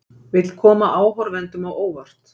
Vill koma áhorfendum á óvart